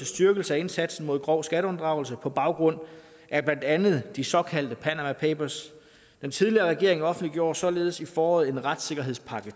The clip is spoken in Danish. styrkelse af indsatsen mod grov skatteunddragelse på baggrund af blandt andet de såkaldte panama papers den tidligere regering offentliggjorde således i foråret en retssikkerhedspakke